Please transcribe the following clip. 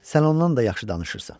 Sən ondan da yaxşı danışırsan.